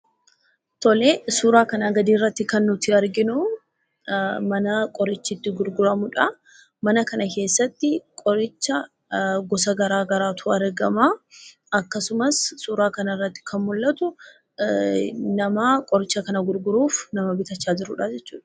Suuraa kanaa gadii irratti kan nuti arginu mana qorichi itti gurguramudha. Mana kana keessatti qorichoota gosa garaagaraatu argama. Akkasumas suuraa kanarratti kan mul'atu nama qoricha kana bituu fi gurgurudha.